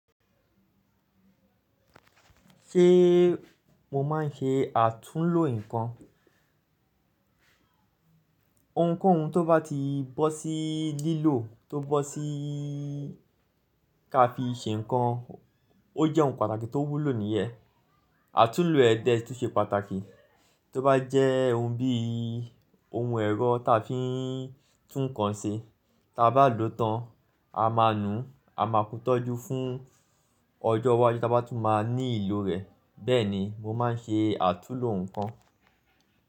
Ṣé mo máa ń ṣe àtúnlo nǹkan? Ohun kóhun tó bá ti bọ́ sí lílò tó bọ́ sí ká fi ṣe nkan, ó jẹ́ ohun pàtàkì tó wúlò nìyẹn. Àtúnlo ẹ̀ dẹ́ tùn ṣe pàtàkì. Tí ó bá jẹ́ ohun bí i ohun ẹ̀rọ táa fi ń tún nǹkan ṣe, tí a bá lòó tán, a máa nu a máa kú tọ́jú fún ọjọ́ iwájú tí a bá tún máa ní ìlò rẹ̀. Bẹ́ẹ̀ni, mo máa ń ṣe àtúnlo nǹkan.